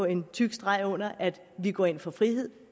en tyk streg under at vi går ind for frihed